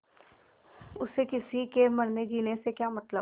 उसे किसी के मरनेजीने से क्या मतलब